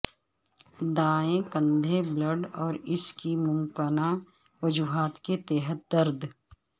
دائیں کندھے بلیڈ اور اس کی ممکنہ وجوہات کے تحت درد